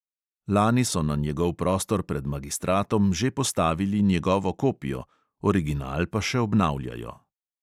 Lani so na njegov prostor pred magistratom že postavili njegovo kopijo, original pa še obnavljajo.